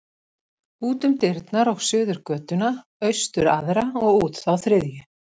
Út um dyrnar og suður götuna, austur aðra og út þá þriðju.